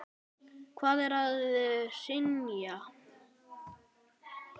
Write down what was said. Hvað er að hrynja?